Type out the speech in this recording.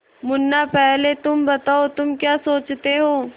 मुन्ना पहले तुम बताओ तुम क्या सोचते हो